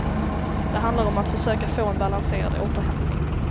Det handlar om att försöka få en balanserad återhämtning.